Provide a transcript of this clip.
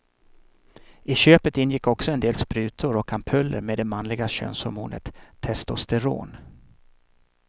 I köpet ingick också en del sprutor och ampuller med det manliga könshormonet testosteron.